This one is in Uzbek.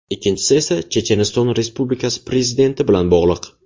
Ikkinchisi esa Checheniston Respublikasi prezidenti bilan bog‘liq.